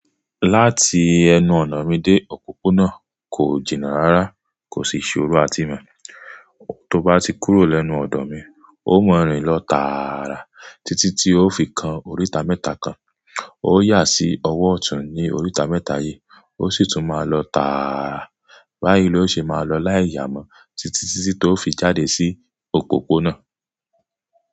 Láti ẹnu ọ̀nà mi dé òpópónà kò jìnnà rárá, kò sì ṣo ró àtímọ́. Tó bá ti kúrò lẹ́nu ọ̀dọ̀ mi, ó mọ̀-ń-rìn lọ tààrà títí tí ó fi kan oríta mẹ́ta kan. Ó yà sí ọwọ́ ọ̀tún ní oríta mẹ́ta yí, ó sì tún máa lọ tààrà. Báyìí ló ṣe máa lọ láì yàmọ́ títí tití ó fi jáde sí òpópónà.